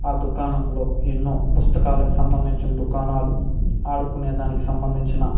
ఆ దుకాణంలో ఎన్నో పుస్తకాలకు సంబందించిన దుకాణాలు ఆడుకునేదనికి సంభందించిన --